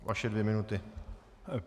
Vaše dvě minuty.